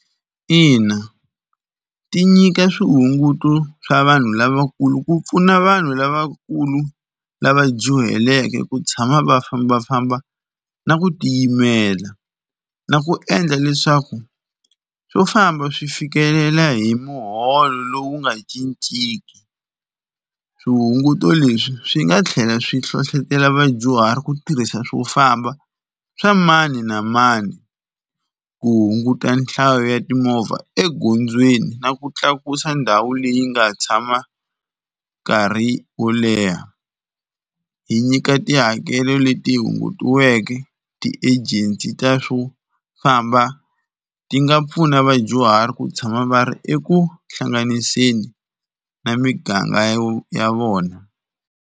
Ina ti nyika swihunguto swa vanhu lavakulu ku pfuna vanhu lavakulu lava dyuhaleke ku tshama va fambafamba na ku tiyimela, na ku endla leswaku swo famba swi fikelela hi muholo lowu nga cinciki. Swihunguto leswi swi nga tlhela swi hlohlotelo vadyuhari ku tirhisa swo famba swa mani na mani ku hunguta nhlayo ya timovha egondzweni na ku tlakusa ndhawu leyi nga tshama nkarhi wo leha. Hi nyika tihakelo leti hungutiweke ti-agency ta swo famba ti nga pfuna vadyuhari ku tshama va ri eku hlanganiseni na miganga ya vona.